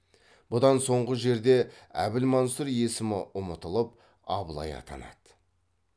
бұдан соңғы жерде әбілмансұр есімі ұмытылып абылай атанады